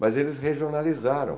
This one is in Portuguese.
Mas eles regionalizaram.